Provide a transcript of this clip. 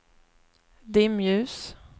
dimljus